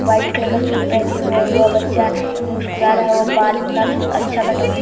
White colour का suit पेहने हुए है वह बच्चा मुस्कुरा रहा है और बाल इतना सु अच्छा कटवाया है।